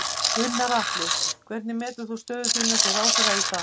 Gunnar Atli: Hvernig metur þú stöðu þína sem ráðherra í dag?